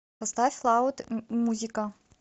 поставь лауд музика